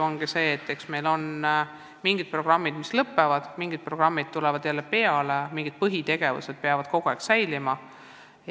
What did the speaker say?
Asi on nii, et meil mingid programmid lõpevad ja mingid programmid tulevad peale, aga mingid põhitegevused peavad kogu aeg olema.